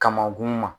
Kamankun ma